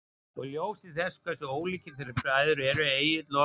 Og í ljósi þess hversu ólíkir þeir bræður eru, Egill og